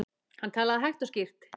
Hann talaði hægt og skýrt.